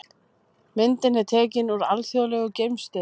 Myndin er tekin úr Alþjóðlegu geimstöðinni.